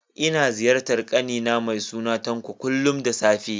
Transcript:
Ina ziyartar ƙani na mai suna Tanko, kullum da safe